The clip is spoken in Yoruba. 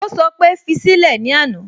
Ó sọ pé "fi sílẹ̀" ní àná